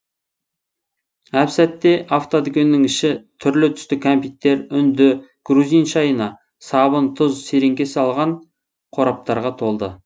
әп сәтте автодүкеннің іші түрлі түсті кәмпиттер үнді грузин шайына сабын тұз сереңке салған қораптарға толды